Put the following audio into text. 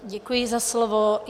Děkuji za slovo.